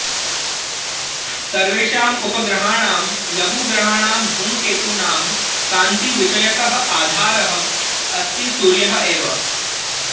सर्वेषाम् उपग्रहाणां लघुग्रहाणां धूमकेतूनां कान्तिविषयकः आधारः अस्ति सूर्यः एव